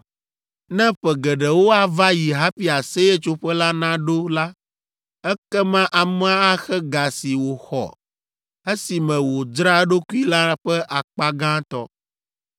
Ne ƒe geɖewo ava yi hafi Aseyetsoƒe la naɖo la, ekema amea axe ga si wòxɔ esime wòdzra eɖokui la ƒe akpa gãtɔ.